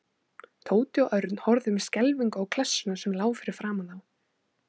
Tóti og Örn horfðu með skelfingu á klessuna sem lá fyrir framan þá.